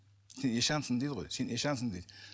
сен ишансың дейді ғой сен ишансың дейді